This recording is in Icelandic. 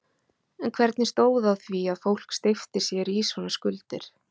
En hvernig stóð á því að fólk steypti sér í svona skuldir?